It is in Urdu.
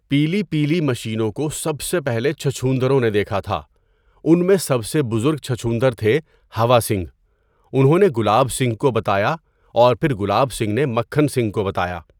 پیلیپیلی مشینوں کو سب سے پہلے چھچھوندروں نے دیکھا تھا۔ ان میں سب سے بزرگ چھچھوندر تھے ہوا سنگھ۔ انہوں نے گلاب سنگھ کو بتایا اور پھر گلاب سنگھ نے مکھن سنگھ کو بتایا۔